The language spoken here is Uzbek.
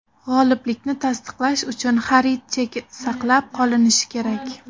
G‘oliblikni tasdiqlash uchun xarid cheki saqlab qolinishi kerak.